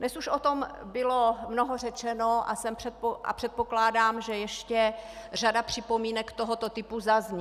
Dnes již o tom bylo mnoho řečeno a předpokládám, že ještě řada připomínek tohoto typu zazní.